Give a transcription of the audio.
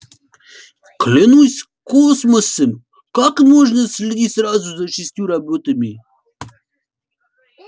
клянусь космосом как можно следить сразу за шестью роботами